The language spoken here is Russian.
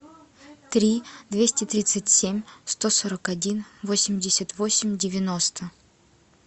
три двести тридцать семь сто сорок один восемьдесят восемь девяносто